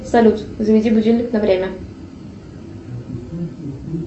салют заведи будильник на время